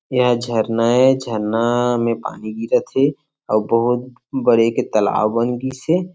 ये ह झरना ए झरना में पानी गीरत हे आऊ बहूत बड़े के तालाब बन गयिस हे।